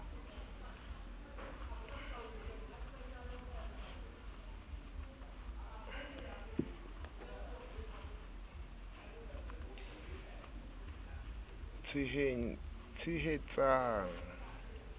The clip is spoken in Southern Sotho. e tshehetsan g di bopil